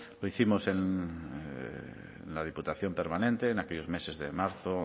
lo hicimos en la diputación permanente en aquellos meses de marzo